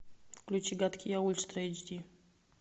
включи гадкий я ультра эйч ди